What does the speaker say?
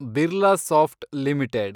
Birlasoft limited